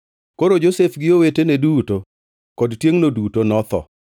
Koro Josef gi owetene duto kod tiengʼno duto notho,